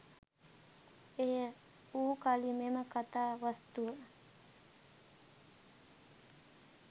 එය වූකලී මෙම කතා වස්තුව